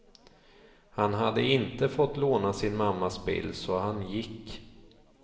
Han hade inte fått låna sin mammas bil, så han gick.